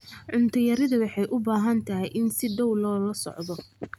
Cunto yarida waxay u baahan tahay in si dhow loola socdo.